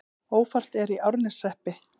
Ófært er í Árneshreppi